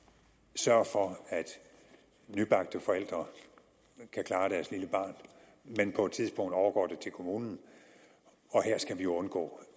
sørge for at nybagte forældre kan klare deres lille barn men på et tidspunkt overgår det til kommunen og her skal vi undgå